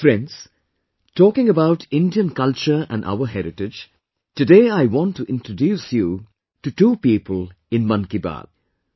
Friends, talking about Indian culture and our heritage, today I want to introduce you to two people in 'Mann Ki Baat'